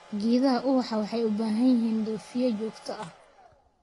Geedaha ubaxa waxay u baahan yihiin dhoofiye joogto ah.